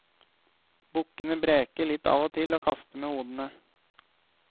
Bukkene breker litt av og til og kaster med hodene.